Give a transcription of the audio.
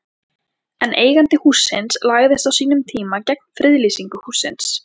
En eigandi hússins lagðist á sínum tíma gegn friðlýsingu hússins?